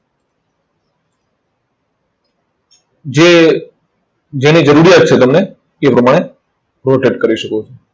જે જેની જરૂરિયાત છે તમને, તે પ્રકારે rotate કરી શકો છો.